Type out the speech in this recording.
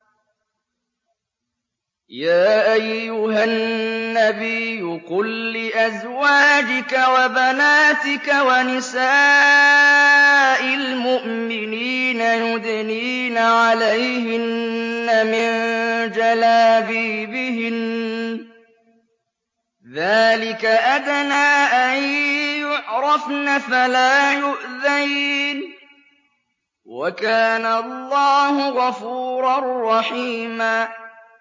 يَا أَيُّهَا النَّبِيُّ قُل لِّأَزْوَاجِكَ وَبَنَاتِكَ وَنِسَاءِ الْمُؤْمِنِينَ يُدْنِينَ عَلَيْهِنَّ مِن جَلَابِيبِهِنَّ ۚ ذَٰلِكَ أَدْنَىٰ أَن يُعْرَفْنَ فَلَا يُؤْذَيْنَ ۗ وَكَانَ اللَّهُ غَفُورًا رَّحِيمًا